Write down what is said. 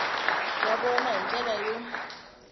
wa vona hi ndlela yo